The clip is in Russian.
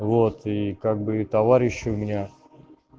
вот и как бы и товарищи у меня